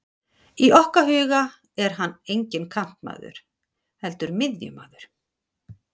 Í okkar huga er hann enginn kantmaður, heldur miðjumaður.